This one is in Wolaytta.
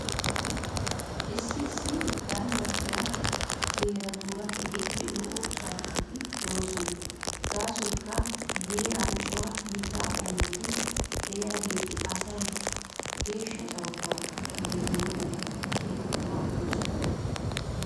Issi issi ganddattiyaa heeratuura keehippe lo"o carkkoti de'oosona. Gaasoykka he heeraara cora mittaa qommoti de'iyaageeti asay geeshsha carkkuwaa demmana mala keehippe maaddoosona.